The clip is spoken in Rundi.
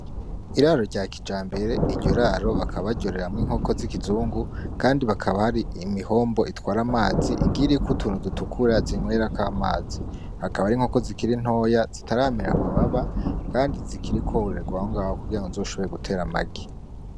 Iraro rya kijambere, iryo raro bakaba baryororeramwo inkoko z'ikizungu kandi hakaba hari imihombo itwara amazi iriko utuntu dutukura zinywerako amazi. Akaba ari inkoko zikiri ntoya zitaramera amababa kandi zikiriko zororegwa Aho kugiango zisoshobore guta amagi.